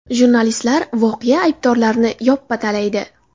Jurnalistlar voqea aybdorlarini yoppa talaydi.